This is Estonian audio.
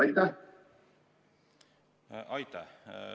Aitäh!